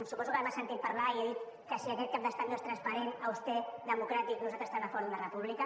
suposo que m’ha sentit parlar i he dit que si aquest cap d’estat no és transparent auster democràtic nosaltres estem a favor d’una república